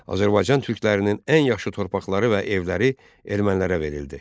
Azərbaycan türklərinin ən yaxşı torpaqları və evləri ermənilərə verildi.